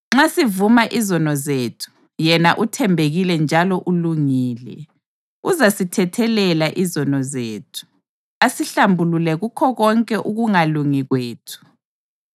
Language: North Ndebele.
Nxa sivuma izono zethu, yena uthembekile njalo ulungile, uzasithethelela izono zethu, asihlambulule kukho konke ukungalungi kwethu.